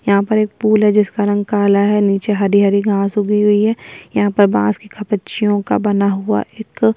यहाँ पर एक पुल है जिसका रंग का काला है नीचे हरी-हरी घास उगी हुई है यहाँ पर बांस का का बना हुआ एक --